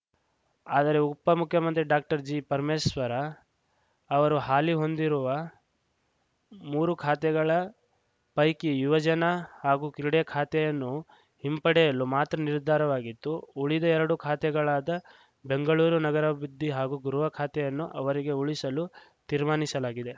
ಆದರೆ ಉಪ ಮುಖ್ಯಮಂತ್ರಿ ಡಾಕ್ಟರ್ಜಿ ಪರಮೇಶ್ವರ ಅವರು ಹಾಲಿ ಹೊಂದಿರುವ ಮೂರು ಖಾತೆಗಳ ಪೈಕಿ ಯುವಜನ ಹಾಗೂ ಕ್ರೀಡೆ ಖಾತೆಯನ್ನು ಹಿಂಪಡೆಯಲು ಮಾತ್ರ ನಿರ್ಧಾರವಾಗಿತ್ತು ಉಳಿದ ಎರಡು ಖಾತೆಗಳಾದ ಬೆಂಗಳೂರು ನಗರಾಭಿವೃದ್ಧಿ ಹಾಗೂ ಗೃಹ ಖಾತೆಯನ್ನು ಅವರಿಗೇ ಉಳಿಸಲು ತೀರ್ಮಾನಿಸಲಾಗಿದೆ